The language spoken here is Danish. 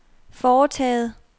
foretaget